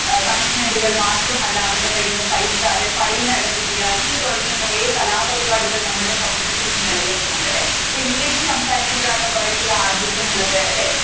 punishment കളും മാത്രമല്ല അവരുടെ കയ്യിൽ നിന്ന് പൈസ അല്ലെങ്കിൽ fine അടപ്പിക്കുക ഇങ്ങനെ തുടങ്ങിയ കൊറേ കലാപരിപാടികൾ നമ്മളുടെ സമൂഹത്തിൽ ഇന്ന് നിലനില്ക്കുന്നുണ്ട് അല്ലെ അപ്പൊ english സംസാരിക്കുമ്പോഴാണ് കൂറേ കൂടി ആഢ്യത്വമുള്ളത് അല്ലെ